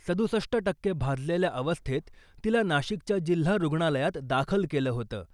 सदुसष्ट टक्के भाजलेल्या अवस्थेत तिला नाशिकच्या जिल्हा रुग्णालयात दाखल केलं होतं .